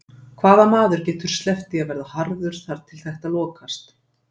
Hvaða maður getur sleppt því að verða harður þar til þetta lokast?